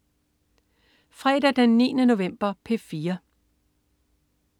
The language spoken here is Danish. Fredag den 9. november - P4: